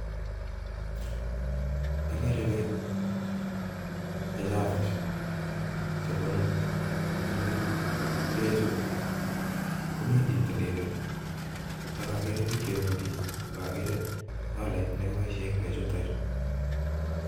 Agere bek che chafu, chebunu paiput, bechu komiten kitilili ak agere biik chebendii ak agree solait nekiboisyen kichute beekchuton chu